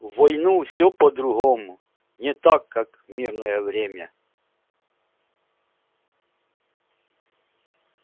в войну все по-другому не так как в мирное время